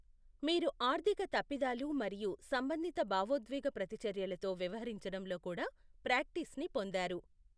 మీరు ఆర్థిక తప్పిదాలు మరియు సంబంధిత భావోద్వేగ ప్రతిచర్యలతో వ్యవహరించడంలో కూడా ప్రాక్టీస్ని పొందారు.